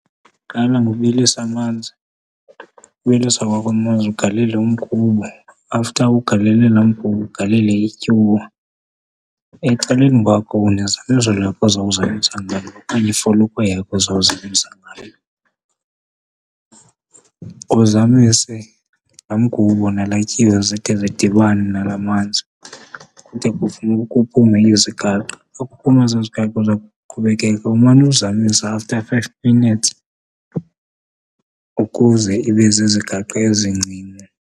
Qala ngokubilisa amanzi, ubilisa kwakho amanzi ugalele umgubo. After ugalele la mgubo ugalele ityuwa. Ecaleni kwakho unezamiso lakho ozawuzamisa ngalo okanye ifolokhwe yakho uzawuzamisa ngayo. Uzamise la mgubo nala tyiwe zide zidibane nala manzi kude kuphume izigaqa. Xa kuphume ezaa zigaqa uza kuqhubekeka umane uzamisa after five minutes ukuze ibe zizigaqa ezincinci.